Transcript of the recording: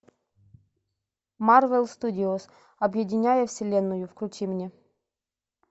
марвел студиос объединяя вселенную включи мне